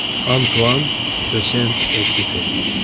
Antuan Düsent Ekzüperi.